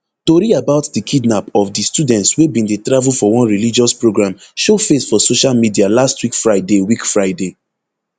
tori about di kidnap of di students wey bin dey travel for one religious programme show face for social media last week friday week friday